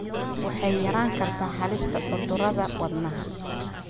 waxay yarayn kartaa halista cudurrada wadnaha.